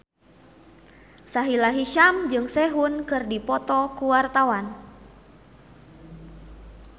Sahila Hisyam jeung Sehun keur dipoto ku wartawan